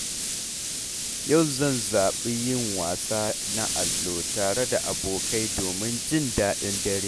Yau zan zaɓi yin wasa na allo tare da abokai domin jin daɗin dare.